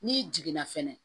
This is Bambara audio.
N'i jiginna fɛnɛ